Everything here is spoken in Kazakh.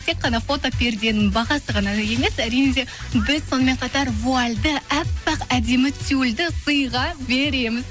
тек қана фотоперденің бағасы ғана емес әрине де біз сонымен қатар вуальді әппақ әдемі тюльді сыйға береміз